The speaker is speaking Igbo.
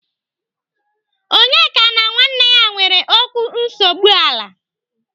Onyeka na nwanne ya nwere okwu nsogbu ala.